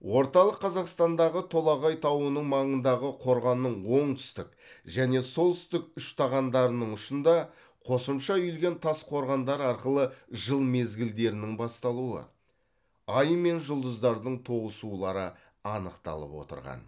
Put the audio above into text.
орталық қазақстандағы толағай тауының маңындағы қорғанның оңтүстік және солтүстік үштағандарының ұшында қосымша үйілген тас қорғандар арқылы жыл мезгілдерінің басталуы ай мен жұлдыздардың тоғысулары анықталып отырған